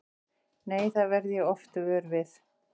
Nei, það verð ég oft vör við.